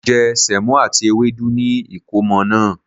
Mo je Sèmó àti ewédú ni ìkómo naa